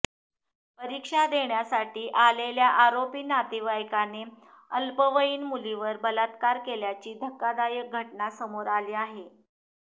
परीक्षा देण्यासाठी आलेल्या आरोपी नातेवाईकाने अल्पवयीन मुलीवर बलात्कार केल्याची धक्कादायक घटना समोर आली आहे